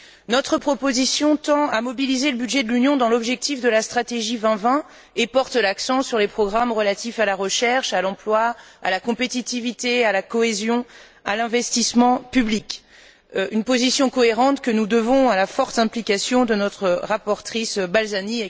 Notre proposition tend à mobiliser le budget de l'Union dans l'objectif de la stratégie Europe 2020 et met l'accent sur les programmes relatifs à la recherche, à l'emploi, à la compétitivité, à la cohésion et à l'investissement public. Il s'agit d'une position cohérente que nous devons à la forte implication de notre rapporteure, Mme Balzani.